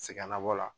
Sɛgɛnnabɔ la